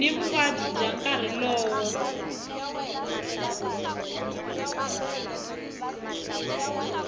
ni vuvabyi bya nkarhi lowo